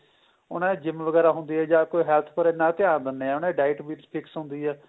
ਉਹਨਾ ਦੀ GYM ਵਗੈਰਾ ਹੁੰਦੀ ਏ ਜਾਂ ਕੋਈ health ਪਰ ਇੰਨਾ ਧਿਆਨ ਦਿੰਦੇ ਏ ਉਹਨਾ ਦੀ diet ਵਿੱਚ fix ਹੁੰਦੀ ਏ